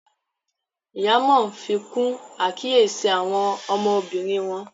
Ìyá Món fikun àkíyèsí àwọn ọmọbìnrin wón.